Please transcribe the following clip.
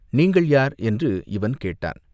நீங்கள் யார் என்று இவன் கேட்டான்.